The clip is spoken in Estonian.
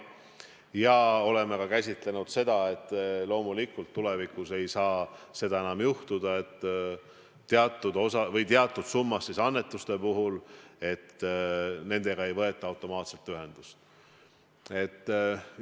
Ja oleme käsitlenud ka seda teemat, et loomulikult tulevikus ei saa seda enam juhtuda, et teatud summas annetuste puhul ei võeta automaatselt annetuse tegijaga ühendust.